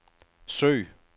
søg